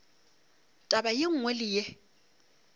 taba ye nngwe le ye